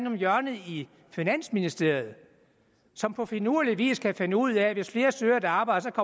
om hjørnet i finansministeriet som på finurlig vis kan finde ud af at hvis flere søger et arbejde